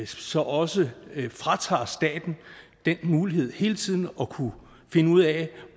så også vil fratage staten den mulighed hele tiden at kunne finde ud af